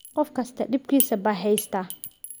Qof kastaa dhibkiisa baa heystaa